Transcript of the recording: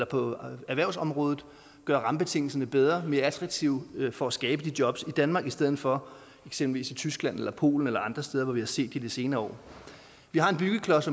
på erhvervsområdet gøre rammebetingelserne bedre og mere attraktive for at skabe de job i danmark i stedet for eksempelvis i tyskland eller polen eller andre steder hvor vi har set det i de senere år vi har en byggeklods